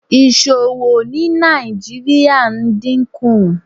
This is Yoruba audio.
Iṣowo ni Nigeria n dinku